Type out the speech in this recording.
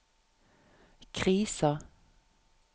krisa